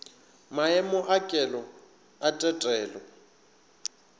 maemo a kelo a tetelo